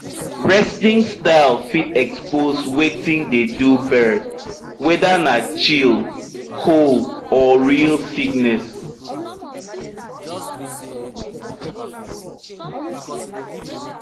resting style fit expose wetin dey do bird whether na chill cold or real sickness